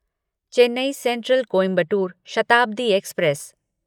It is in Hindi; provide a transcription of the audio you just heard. Chennai central Coimbatore Shatabdi express